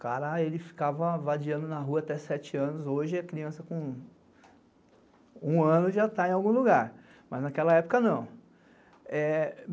Cara, ele ficava vadiando na rua até sete anos, hoje a criança com um ano já está em algum lugar, mas naquela época não.